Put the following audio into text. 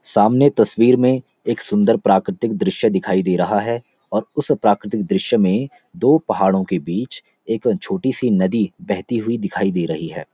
सामने तस्वीर में एक सुंदर प्राकृतिक दृश्य दिखाई दे रहा है और उस प्राकृतिक दृश्य में दो पहाड़ों के बीच एक छोटी सी नदी बहती हुई दिखाई दे रही है।